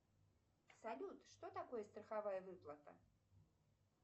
салют что такое страховая выплата